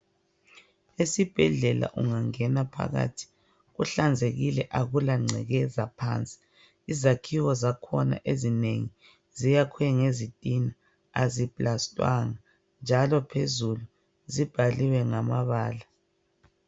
Esibhedlela ungangena phakathi kuhlanzekile akula ngcekeza phansi izakhiwo zakhona ezinengi ziyakhwe ngezitina azisindwanga njalo phezulu zibhaliwe ngamabala.